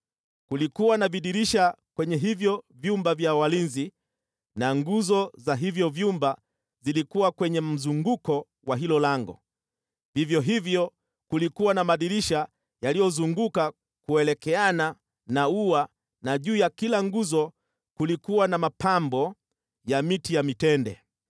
Kulikuwa na vidirisha kwenye hivyo vyumba vya walinzi na nguzo za hivyo vyumba zilikuwa kwenye mzunguko wa hilo lango, vivyo hivyo kulikuwa na madirisha yaliyozunguka kuelekeana na ua na juu ya kila nguzo kulikuwa na mapambo ya miti ya mitende.